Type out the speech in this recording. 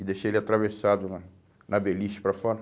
E deixei ele atravessado na na beliche para fora.